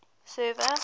server